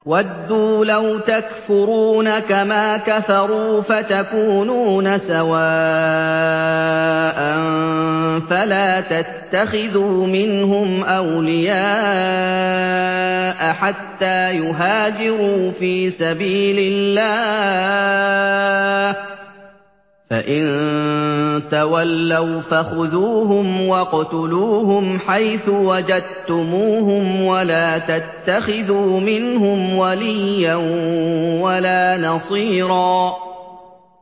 وَدُّوا لَوْ تَكْفُرُونَ كَمَا كَفَرُوا فَتَكُونُونَ سَوَاءً ۖ فَلَا تَتَّخِذُوا مِنْهُمْ أَوْلِيَاءَ حَتَّىٰ يُهَاجِرُوا فِي سَبِيلِ اللَّهِ ۚ فَإِن تَوَلَّوْا فَخُذُوهُمْ وَاقْتُلُوهُمْ حَيْثُ وَجَدتُّمُوهُمْ ۖ وَلَا تَتَّخِذُوا مِنْهُمْ وَلِيًّا وَلَا نَصِيرًا